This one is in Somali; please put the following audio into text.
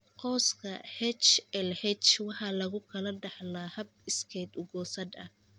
Qoyska HLH waxa lagu kala dhaxlaa hab iskeed u goosad ah.